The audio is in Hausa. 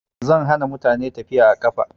Zan hana mutane tafiya a ƙafa